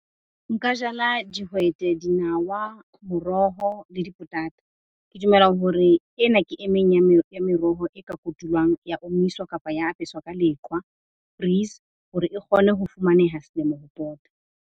Nka jala dihwete, dinawa, moroho le dipotata. Ke dumela hore ena ke e meng ya ya meroho e ka kotulwang ya omiswa kapa ya apeswa ka leqwa hore e kgone ho fumaneha selemo ho pota.